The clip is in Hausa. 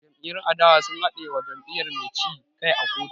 Jam'iyyun adawa sun haɗe wa jam'iyyar mai ci kai a kotu